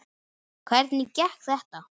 Hvernig gekk þetta?